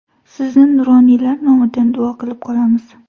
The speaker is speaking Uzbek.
Sizni nuroniylar nomidan duo qilib qolamiz.